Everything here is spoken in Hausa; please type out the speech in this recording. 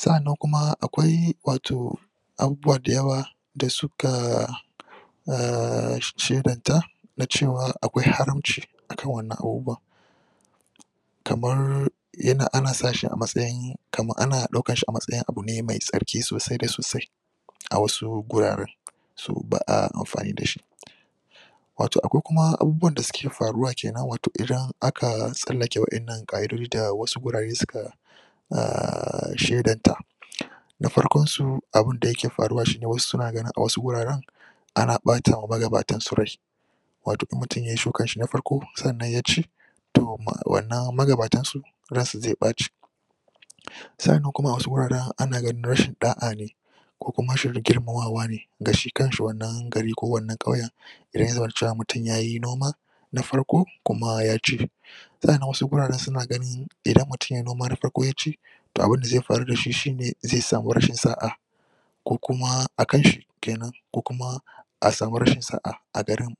Sa'annan kuma akwai wato abubuwa da yawa da suka A shedanta na cewa akwai haramci a kan wannan abubuwan kamar ana sa shi a matsayin kamar ana ɗaukarshi a matsayin abu ne mai tsarki sosai da sosai a wasu guraren. su ba a amfani da shi wato akwai kuma abubuwan da suke faruwa kenan idan aka tsallake waɗannan ƙa'idoji da wasu gurare suka a shedanta da farkonsu abun da yake faruwa shi ne a wasu suna ganin a wasu guraren ana ɓata wa maganatansu rai wato in mutum ya yi shukanshi na farko sannan ya ci to wannan magabatansu ransu zai ɓaci sa'annan a wasu guraren ana ganin rashin ɗa'a ne ko kuma rashin girmamawa ne ga shi kanshi wannan gari ko wannan ƙauyen da ya zamana cewa ya yi wannan noman na farko kuma ya ci sa'annan wasu guraren sun ganin idan mutum yai noman farko kuma ya ci to abun da zai faru da shi shi ne zai samu rashin sa'a. ko kuma a kanshi ke nan ko kuma a samu rashin sa'a a garin.